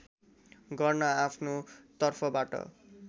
गर्न आफ्नो तर्फबाट